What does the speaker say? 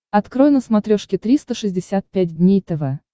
открой на смотрешке триста шестьдесят пять дней тв